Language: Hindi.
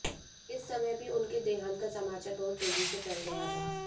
इस समय भी उनके देहांत का समाचार बहुत तेजी से फैल गया था